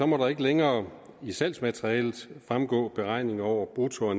må der ikke længere i salgsmaterialet fremgå beregninger over brutto og